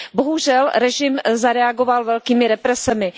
Bohužel režim zareagoval velkými represemi.